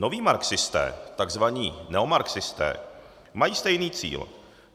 Noví marxisté, tzv. neomarxisté, mají stejný cíl.